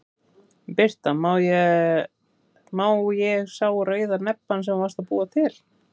Birta: Má ég sá rauða nebbann sem þú varst að búa til?